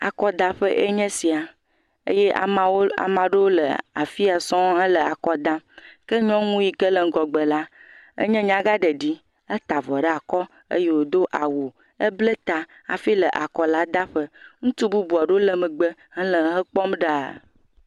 Akɔdaƒe ye nye esia eye ame aɖewo le afi ya sɔŋ le akɔ dam, ke nyɔnu yi ke le ŋgɔgbe la nye nyagãɖeɖi, etaa avɔ ɖe akɔ eye wòdo awu ebla ta hifi le akɔla daƒe ŋutsu bubuwo le megbe le ekpɔm ɖaa.